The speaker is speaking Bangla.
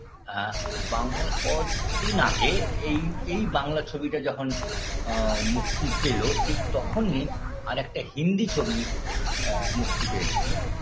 আ বাং অদ্দিন আগে এই এই বাংলা ছবিটা যখন আ মুক্তি পেল ঠিক তখনই আরেকটা হিন্দি ছবি অ্যা মুক্তি পেয়েছিল